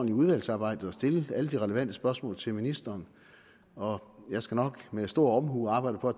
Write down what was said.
i udvalgsarbejdet og stille alle de relevante spørgsmål til ministeren og jeg skal nok med stor omhu arbejde for